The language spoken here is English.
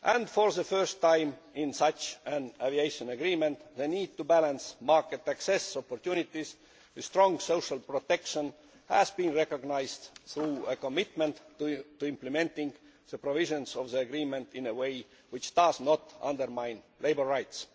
For the first time in such an aviation agreement, the need to balance market access opportunities with strong social protection has been recognised through a commitment to implementing the provisions of the agreement in a way which does not undermine labour rights.